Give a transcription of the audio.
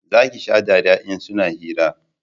za ki sha dariya in suna hira